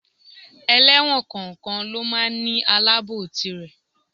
Ẹlẹ́wọ̀n kọ̀ọ̀kan lọ máa ń ní Aláàbòò tirè.